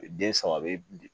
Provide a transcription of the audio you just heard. Den saba bɛ